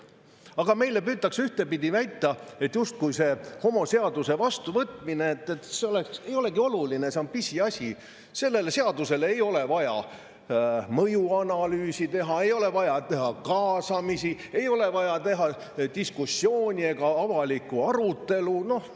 Aga meile püütakse ühtpidi väita, justkui see homoseaduse vastuvõtmine ei olekski oluline, see olevat pisiasi, sellele seadusele ei ole vaja mõjuanalüüsi teha, ei ole vaja teha kaasamist, ei ole vaja diskussiooni ega avalikku arutelu.